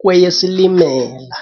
kweyeSilimela.